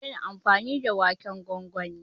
zamu daina amfani da waken gwangwani